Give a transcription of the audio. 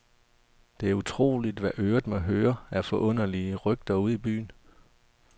Det er utroligt, hvad øret må høre af forunderlige rygter ude i byen.